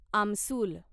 आमसुल